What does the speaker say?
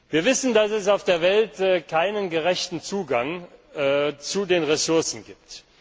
ist. Wir wissen, dass es auf der Welt keinen gerechten Zugang zu den Ressourcen gibt.